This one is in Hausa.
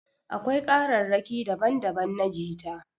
Akwai kararraƙi daban daban na jita